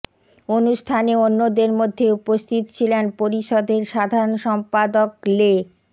অনুষ্ঠানে অন্যদের মধ্যে উপস্থিত ছিলেন পরিষদের সাধারন সম্পাদক লে